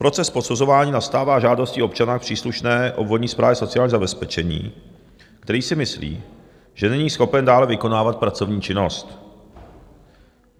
Proces posuzování nastává žádostí občana u příslušné obvodní správy sociální zabezpečení, který si myslí, že není schopen dále vykonávat pracovní činnost.